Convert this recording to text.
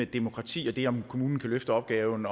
demokrati og det om hvorvidt kommunen kan løfte opgaven